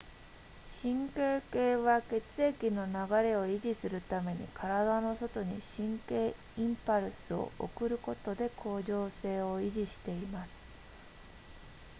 神経系は血液の流れを維持するために体の外に神経インパルスを送ることで恒常性を維持しています